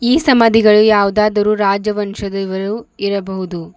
ಈ ಸಮಾದಿಗಳಲ್ಲಿ ಯಾವುದಾದರು ರಾಜವಂಶದವರು ಇರಬಹುದು.